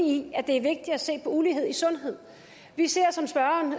i at det er vigtigt at se på ulighed i sundhed vi ser som spørgeren